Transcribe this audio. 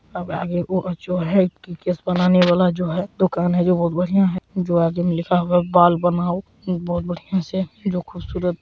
केश बनाने वाला जो है दूकान है वो बहुत बनिया है जो आगे में लिखा हुआ है बाल बनाओ बहुत बनिया से जो खूबसूरत--